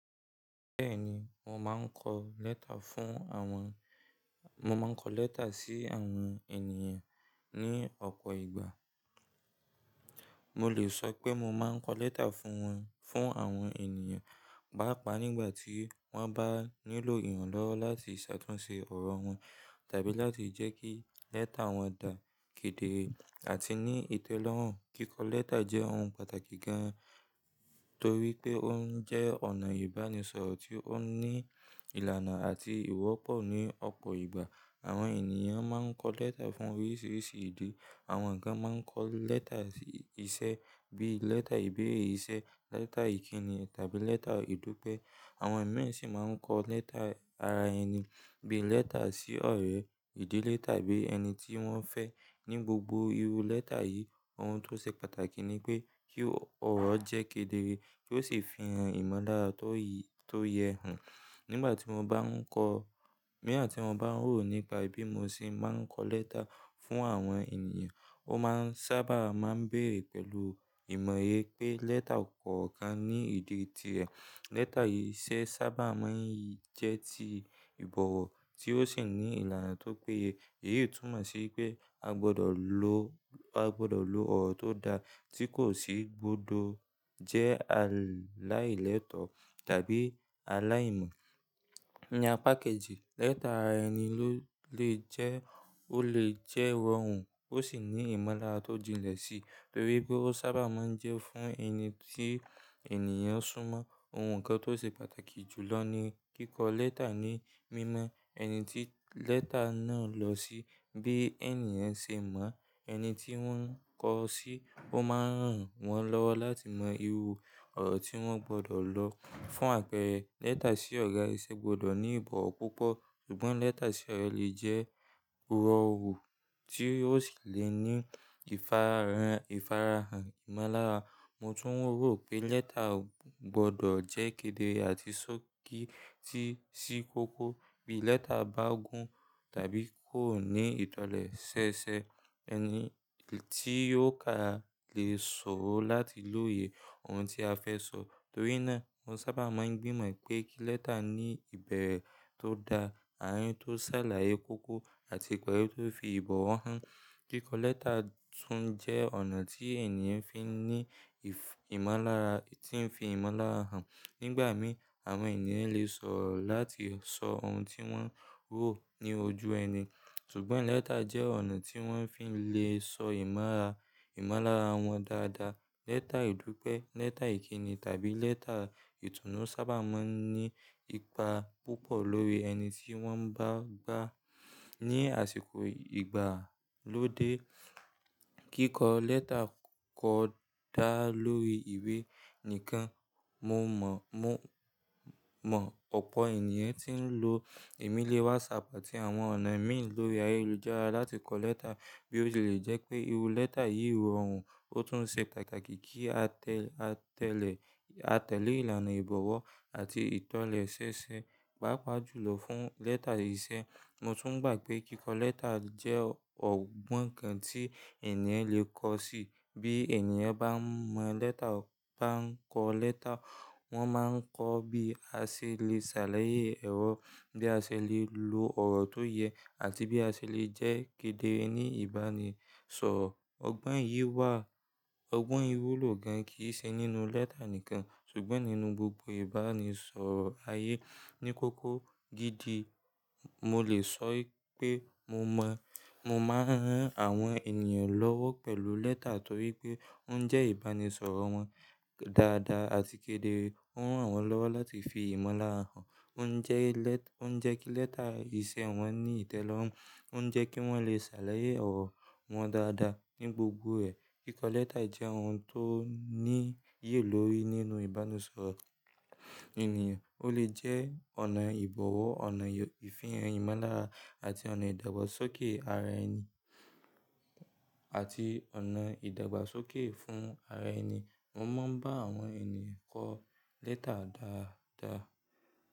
Bẹ́ẹ̀ni, mo máa ń kọ lẹ́tà fún àwọn, mo máa ń kọ lẹ́tà sí àwọn ènìyàn ní ọ̀pọ̀ ìgbà. Mo lè sọ pé mo máa ń kọ lẹ́tà fún wọn, fún àwọn ènìyàn, pàápàá nígbà tí wọ́n bá nílò ìrànlọ́wọ́ láti ṣàtúnṣe ọ̀rọ̀ wọn tàbí láti jẹ́ kí lẹ́tà wọn dà kédere àti ní ìtẹ́lọ́rùn. Kíkọ lẹ́tà jẹ́ ohun pàtàkì gan, torí pé ó ń jẹ́ ọ̀nà ìbánisọ̀rọ̀ tí ó ní ìlànà àti ìwọ́pọ̀ ní ọ̀pọ̀ ìgbà. Àwọn ènìyàn máa ń kọ lẹ́tà fún oríṣiríṣi ìdí. Àwọn kan máa ń kọ irú lẹ́tà sí iṣẹ́ bí lẹ́tà ìbéèrè iṣẹ́, lẹ́tà ìkíni tàbí lẹ́tà ìdúpẹ́. Àwọn imi sì máa ń kọ lẹ́tà ara ẹni bí lẹ́tà sí ọ̀rẹ́, ìdílé tàbí ẹni tí wọ́n fẹ́. Ní gbogbo irú lẹ́tà yìí, ohun tó ṣe pàtàkì ni pé kí ọ̀rọ̀ jẹ́ kédere, kí ó sì fi ìran ìmọ̀lára tó yi, tó yẹ hàn. Nígbà tí mo bá ń kọ, bo gbogboyà tím bá ń rò nípa bí mo ṣe máa ń kọ lẹ́tà fún àwọn ènìyàn, ó máa ń sábà máa ń béèrè pẹ̀lú ìmọ̀ye pé lẹ́tà kọ̀ọ̀kan ní ìdí tirẹ̀. Lẹ́tà iṣẹ́ sábà máa ń jẹ́ ti ìbọ̀wọ̀ tí ó sì ní ìlànà tó péye. Èyí tùmọ̀ sí pé a gbọdọ̀ lo, a gbọdọ̀ lo ọ̀rọ̀ tó da tí kò sì gbọdọ̀ jẹ́ aláìlétọ̀ tàbí aláìmọ̀ ní apá kejì, Lẹ́tà ara ẹni ló lè jẹ́, ó lè jẹ́ rọrùn ó sì ní ìmọ̀lára tó jinlẹ̀ sí, torí pé ó sábà máa ń jẹ́ fún ẹni tí ènìyàn súnmọ́. Ohun kan tó ṣe pàtàkì jùlọ ni kíkọ lẹ́tà ní mímọ ẹni tí lẹ́tà náà lọ sí. Bí ènìyàn ṣe mọ ẹni tí wọ́n ń kọ sí, ó máa ń ràn wọ́n lọ́wọ́ láti mọ irú ọ̀rọ̀ tí wọ́n gbọdọ̀ lọ fún àpẹẹrẹ lẹ́tà sí ọ̀gá ìṣe gbọdọ̀ ní ìbọ̀wọ̀ púpọ̀. Ṣùgbọ́n lẹ́tà sí ọ̀rẹ́ lè jẹ́ rọrùn tí ó sì lè ní ìfarahàn, ìfarahàn ìmọ̀lára. Mo tún rò pé lẹ́tà gbọdọ̀ jẹ́ kédere àti sókí tí sí kókó. Bí lẹ́tà bá gùn tàbí kò ní ìtọ̀lẹ̀ sẹsẹ, ẹni tí yóò ka lè ṣòro láti lóye ohun tí a fẹ́ sọ. Torí náà, mo sábà máa ń gbìmọ̀ pé kí lẹ́tà ní ìbẹ̀rẹ̀ tó da, àárín tó ṣàlàyé kókó àti ìparí tó fi ìbọ̀wọ̀ hàn. Kíkọ lẹ́tà tún jẹ́ ọ̀nà tí ènìyàn fi ní ìmọ̀lára, tí ń fi ìmọ̀lára hàn. Nígbà mìí, àwọn ènìyàn lè sòrò láti sọ ohun tí wọ́n rò ní ojú ẹni. Ṣùgbọ́n lẹ́tà jẹ́ ọ̀nà tí wọ́n fi lè sọ ìmọ̀lára, ìmọ̀lára wọn dáadáa. Lẹ́tà ìdúpẹ́, lẹ́tà ìkíni tàbí lẹ́tà ìtùnú sábà máa ń ní ipa púpọ̀ lórí ẹni tí wọ́n bá ba. Ni àsìkò ìgbàlódé, kíkọ lẹ́tà kò dá lórí ìwé nìkan. Mo mọ̀, mo mọ̀ ọ̀pọ̀ ènìyàn tí ń lo ẹ̀mílé WhatsApp àti àwọn ọ̀nà imì lórí ayélujára láti kọ lẹ́tà bí ó ṣe lè jẹ́ pé irú lẹ́tà yìí rọrùn ó tún ṣe pàtàkì kí a tẹ́, a tẹ́lẹ̀, a tẹ́lẹ̀ ìlànà ìbọ̀wọ̀ àti ìtọ̀lẹ̀ ṣẹ́ṣẹ́, pàápàá jùlọ fún lẹ́tà iṣẹ́. Mo tún gbà pé kíkọ lẹ́tà jẹ́ ọgbọ́n kan tí ènìyàn lè kọ́ sí. Bí ènìyàn bá mọ lẹ́tà, bá ń kọ lẹ́tà, wọ́n máa ń kọ bí a ṣe lè ṣàlàyé ẹ̀rọ, bí a ṣe lè lo ọ̀rọ̀ tó yẹ àti bí a ṣe lè jẹ́ kédere ní ìbánisọ̀rọ̀. Ọgbọ́n yìí wà, ọgbọ́n yìí wúlò gan kíí ṣe nínú lẹ́tà nìkan ṣùgbọ́n nínú gbogbo ìbánisọ̀rọ̀ ayé ní kókó gidi. Mo lè sọ ipé mo mọ̀, mo máa ń rán àwọn ènìyàn lọ́wọ́ pẹ̀lú lẹ́tà torí pé ó ń jẹ́ ìbánisọ̀rọ̀ wọn dáadáa àti kédere. Ó ń ràn wọ́n lọ́wọ́ láti fi ìmọ̀lára hàn. Ó ń jẹ́ lẹ́, ó ń jẹ́ kí lẹ́tà iṣẹ́ wọn ní ìtẹ́lọ́rùn. Ó ń jẹ́ kí wọ́n lè ṣàlàyé ọ̀rọ̀ wọn dáadáa ní gbogbo ẹ̀. Kíkọ lẹ́tà jẹ́ ohun tó ní iyì lórí nínú ìbánisọ̀rọ̀ ènìyàn. Ó lè jẹ́ ọ̀nà ìbọ̀wọ̀, ọ̀nà ìfihàn ìmọ̀lára àti ọ̀nà ìdàgbàsókè ara ẹni àti ọ̀nà ìdàgbàsókè fún ara ẹni. Mo máa ń bá àwọn ènìyàn kọ lẹ́tà dáadáa.